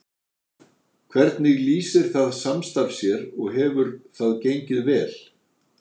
Hvernig lýsir það samstarf sér og hefur það gengið vel?